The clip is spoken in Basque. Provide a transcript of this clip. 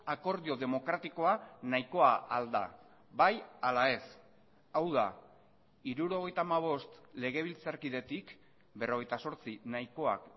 akordio demokratikoa nahikoa ahal da bai ala ez hau da hirurogeita hamabost legebiltzarkidetik berrogeita zortzi nahikoak